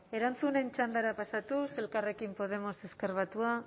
erantzunen txandara pasatuz elkarrekin podemos ezker batua